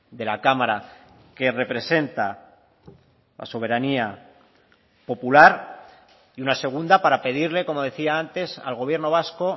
de la cámara que representa la soberanía popular y una segunda para pedirle como decía antes al gobierno vasco